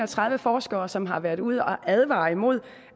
og tredive forskere som har været ude at advare imod